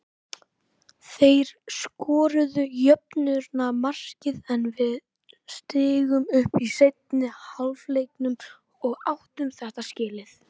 Þeir skoruðu jöfnunarmarkið en við stigum upp í seinni hálfleiknum og áttu þetta skilið.